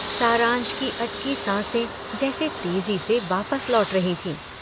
सारांश की अटकी सांसें जैसे तेजी से वापस लौट रहीं थीं।